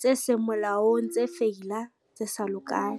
tse seng molaong, tse feila, tse sa lokang.